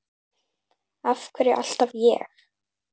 Af hverju alltaf ég?